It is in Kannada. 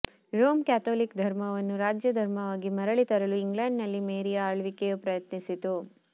ರೋಮ್ ಕ್ಯಾಥೊಲಿಕ್ ಧರ್ಮವನ್ನು ರಾಜ್ಯ ಧರ್ಮವಾಗಿ ಮರಳಿ ತರಲು ಇಂಗ್ಲೆಂಡ್ನಲ್ಲಿ ಮೇರಿಯ ಆಳ್ವಿಕೆಯು ಪ್ರಯತ್ನಿಸಿತು